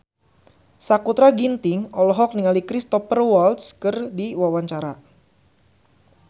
Sakutra Ginting olohok ningali Cristhoper Waltz keur diwawancara